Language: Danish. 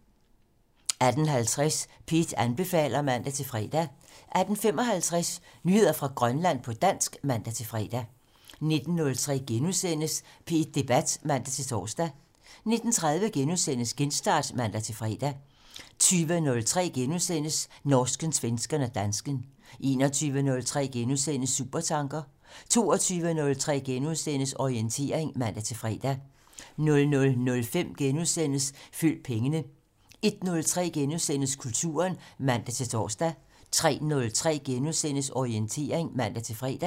18:50: P1 anbefaler (man-fre) 18:55: Nyheder fra Grønland på dansk (man-fre) 19:03: P1 Debat *(man-tor) 19:30: Genstart *(man-fre) 20:03: Norsken, svensken og dansken * 21:03: Supertanker * 22:03: Orientering *(man-fre) 00:05: Følg pengene * 01:03: Kulturen *(man-tor) 03:03: Orientering *(man-fre)